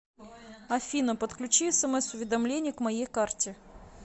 афина подключи смс уведомление к моей карте